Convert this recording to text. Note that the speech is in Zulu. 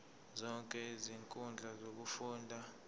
zonke izinkundla zokufunda